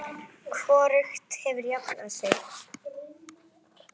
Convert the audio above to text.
Hvorugt hefur jafnað sig.